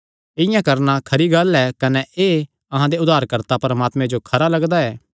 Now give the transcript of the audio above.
इआं करणा खरी गल्ल ऐ कने एह़ अहां दे उद्धारकर्ता परमात्मे जो खरा लगदा ऐ